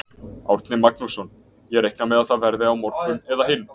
Árni Magnússon: Ég reikna með að það verði á morgun eða hinn?